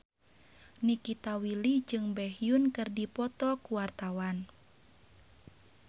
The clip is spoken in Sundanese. Nikita Willy jeung Baekhyun keur dipoto ku wartawan